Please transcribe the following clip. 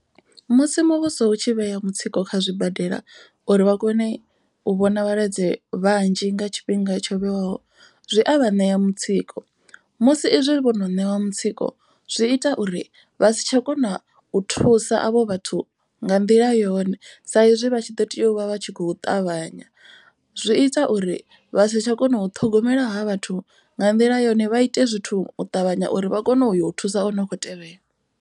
Musi muvhuso u tshi vhea mutsiko kha zwibadela uri vha kone u vhona vhalwadze vhanzhi nga tshifhinga tsho vhewaho. Zwi a vha ṋea mutsiko musi izwi vhono ṋewa mutsiko. Zwi ita uri vha si tsha kona u thusa avho vhathu nga nḓila yone. Sa izwi vha tshi ḓo tea u vha vha tshi kho ṱavhanya. Zwi ita uri vha sa tsha kona u ṱhogomela ha vhathu nga nḓila yone vha ite zwithu u ṱavhanya uri vha kone u yo thusa o no khou tevhela.